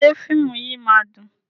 Ṣé fíìmù yìí máa dùn?